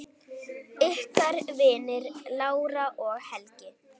Ykkar vinir, Lára og Helgi.